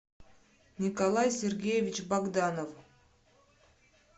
николай сергеевич богданов